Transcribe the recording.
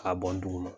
K'a bɔn dugu ma